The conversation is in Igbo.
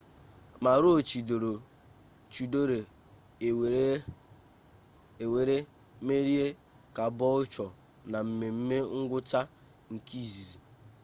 maroochidore ewere merie caboolture na mmeme ngwụcha nke izizi